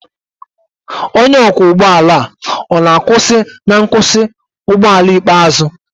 onye ọkwọ ụgbọ ala ọ na-akwụsị na nkwụsị ụgbọ ala ikpeazụ?